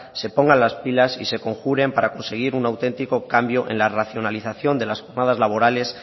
se pongan las pilas y se conjuren para conseguir un auténtico cambio en la racionalización de las jornadas laborales